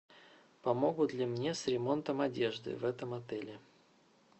помогут ли мне с ремонтом одежды в этом отеле